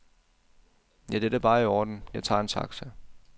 Ja, det er da bare i orden, jeg tager en taxa.